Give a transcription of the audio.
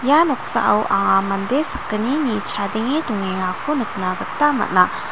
ia noksao anga mande sakgnini chadenge dongengako nikna gita man·a.